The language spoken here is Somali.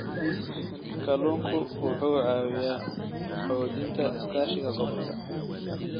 Kalluunku wuxuu caawiyaa xoojinta iskaashiga gobolka.